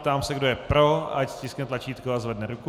Ptám se, kdo je pro, ať stiskne tlačítko a zvedne ruku.